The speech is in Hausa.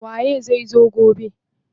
Waye zai zo gobe?